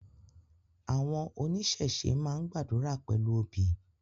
Awọn onisese maa n gbadura pẹlu obi